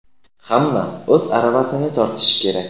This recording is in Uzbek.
hamma o‘z aravasini tortishi kerak.